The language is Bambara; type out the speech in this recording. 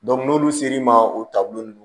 n'olu ser'i ma o taabolo nunnu